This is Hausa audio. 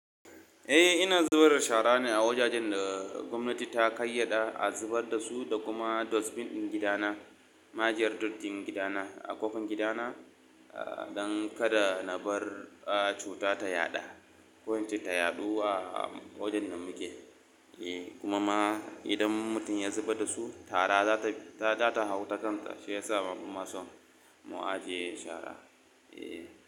Eh, ina zubar da shara ne a wajajen da gwamnati ta kayyada a zubar da su da kuma dustbin ɗin gida na, na ajiyar dattin gida na a ƙofar gida na, don kada na bar cuta ta yaɗa ko ita ta yaɗu a wajen da muke. Eh kuma ma idan mutum ya zubar da su, tara za ta, za ta hau takan ka shi yasa ma bama son mu ajiye shara. Eh.